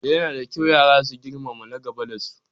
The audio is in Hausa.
Yana da kyau yara su girmama na gaba da su